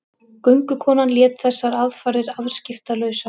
Göngukonan lét þessar aðfarir afskiptalausar.